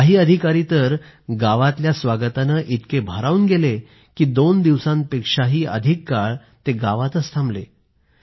काही अधिकारी तर गावात झालेल्या स्वागतानं इतके भारावून गेले की दोन दिवसांपेक्षा अधिक काळ गावात थांबले